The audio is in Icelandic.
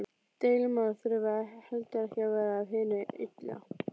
Deilumál þurfa heldur ekki að vera af hinu illa.